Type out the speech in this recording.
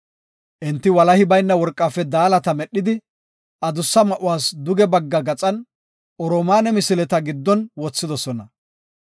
Enti walahi bayna worqafe daalata medhidi, adussa ma7uwas duge bagga gaxan, oromaane misileta giddon wothidosona.